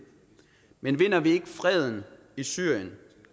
men vinder vi ikke freden i syrien